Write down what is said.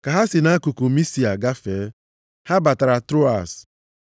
Ka ha si nʼakụkụ Misia gafee, ha batara Troas.